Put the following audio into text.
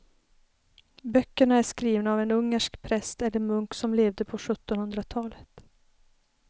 Böckerna är skrivna av en ungersk präst eller munk som levde på sjuttonhundratalet.